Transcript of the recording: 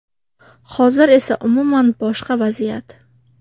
Hozir esa umuman boshqa vaziyat.